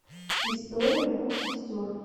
история двух сестер